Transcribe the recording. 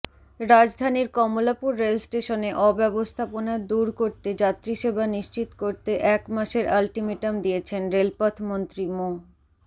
রাজধানীর কমলাপুর রেলস্টেশনে অব্যবস্থাপনা দূর করে যাত্রীসেবা নিশ্চিত করতে এক মাসের আলটিমেটাম দিয়েছেন রেলপথমন্ত্রী মো